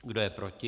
Kdo je proti?